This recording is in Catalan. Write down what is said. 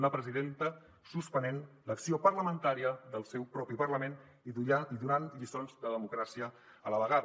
una presidenta suspenent l’acció parlamentària del seu propi parlament i donant lliçons de democràcia a la vegada